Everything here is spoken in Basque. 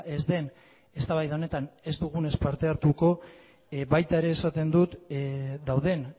ez den eztabaida honetan ez dugunez parte hartuko baita ere esaten dut dauden